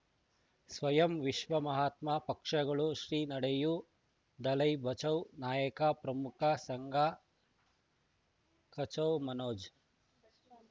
ಸ್ವಯಂ ವಿಶ್ವ ಮಹಾತ್ಮ ಪಕ್ಷಗಳು ಶ್ರೀ ನಡೆಯೂ ದಲೈ ಬಚೌ ನಾಯಕ ಪ್ರಮುಖ ಸಂಘ ಕಚೌ ಮನೋಜ್